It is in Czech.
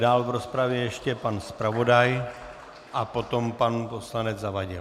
Dál v rozpravě ještě pan zpravodaj a potom pan poslanec Zavadil.